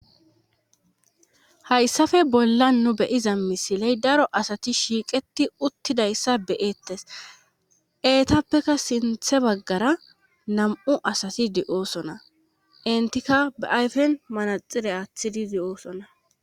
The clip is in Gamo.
Hayssafe bolla nu beyiza misiley daro asati shiiqeti uttidayssa beyeettes eetappeka sinthe baggara nam7u asati di7oosona intikka beayfen manaxile aaththidi di7oosona